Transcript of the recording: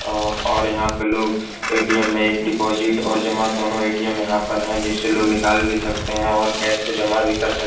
और यहाँ पे लोग ए.टी.एम. में एक डिपॉजिट और जमा दोनों ए.टी.एम. यहाँ पर है जिससे लोग निकाल भी सकते हैं और कॅश को जमा भी कर सकते हैं।